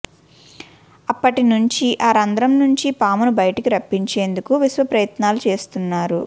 అప్పటి నుంచి ఆ రంధ్రం నుంచి పామును బయటకు రప్పించేందుకు విశ్వ ప్రయత్నాలు చేస్తున్నారు